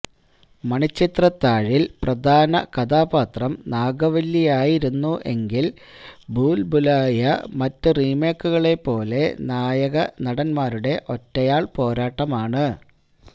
മണിച്ചിത്രത്താഴില് പ്രധാകഥാപാത്രം നാഗവല്ലിയായിരുന്നു എങ്കില് ഭൂല് ഭൂലായിയ മറ്റ് റീമേക്കുകളേ പോലെ നായക നടന്മാരുടെ ഒറ്റയാള് പോരാട്ടമാണ്